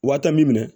Wa taa min minɛ